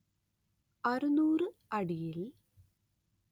അറുനൂറ് അടിയിൽ